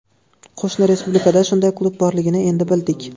Qo‘shni respublikada shunday klub borligini endi bildik.